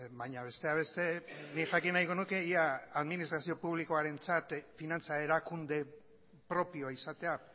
baina besteak beste nik jakin nahiko nuke ea administrazio publikoarentzat finantza erakunde propioa izatea